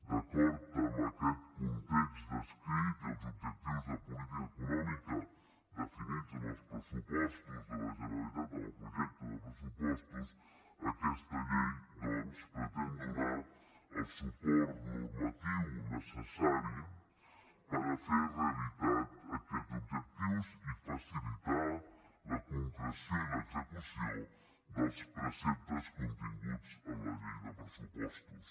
d’acord amb aquest context descrit i els objectius de política econòmica definits en els pressupostos de la generalitat en el projecte de pressupostos aquesta llei doncs pretén donar el suport normatiu necessari per fer realitat aquests objectius i facilitar la concreció i l’execució dels preceptes continguts en la llei de pressupostos